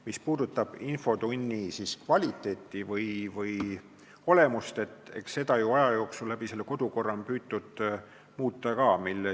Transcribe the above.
Mis puudutab infotunni kvaliteeti või olemust, siis eks seda ole aja jooksul kodukorra abil püütud muuta ka.